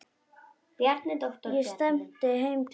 Ég stefni heim til hennar.